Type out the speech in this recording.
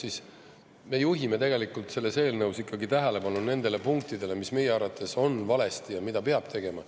Aga me juhime tegelikult selles eelnõus ikkagi tähelepanu nendele punktidele, mis meie arvates on valesti ja mida peab tegema.